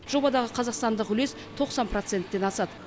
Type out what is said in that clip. жобадағы қазақстандық үлес тоқсан проценттен асады